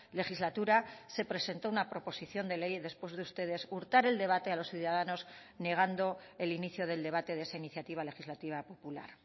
legislatura se presentó una proposición de ley después de ustedes hurtar el debate a los ciudadanos negando el inicio del debate de esa iniciativa legislativa popular